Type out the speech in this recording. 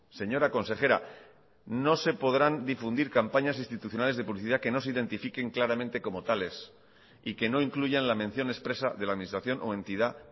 señora consejera no se podrán difundir campañas institucionales de publicidad que no se identifiquen claramente como tales y que no incluyan la mención expresa de la administración o entidad